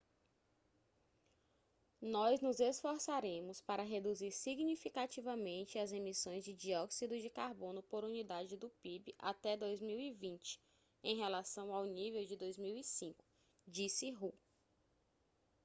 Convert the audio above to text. nós nos esforçaremos para reduzir significativamente as emissões de dióxido de carbono por unidade do pib até 2020 em relação ao nível de 2005 disse hu